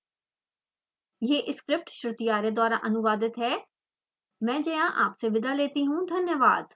I I T Bombay से मैं श्रुति आर्य आपसे विदा लेती हूँ हमसे जुड़ने के लिए धन्यवाद